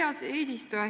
Hea eesistuja!